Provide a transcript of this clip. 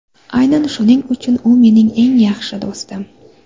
Aynan shuning uchun u mening eng yaxshi do‘stim.